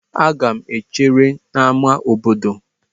Aga m echere n'ámá obodo.